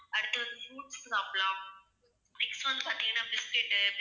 அடுத்து வந்து சாப்பிடலாம், next வந்து பாத்தீங்கன்னா biscuit உ